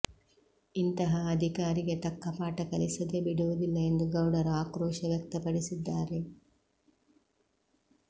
ಇಂತಹ ಅಧಿಕಾರಿಗೆ ತಕ್ಕ ಪಾಠ ಕಲಿಸದೆ ಬಿಡುವುದಿಲ್ಲ ಎಂದು ಗೌಡರು ಆಕ್ರೋಶ ವ್ಯಕ್ತಪಡಿಸಿದ್ದಾರೆ